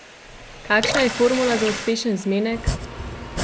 Kakšna je formula za uspešen zmenek?